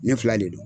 Ne fila de don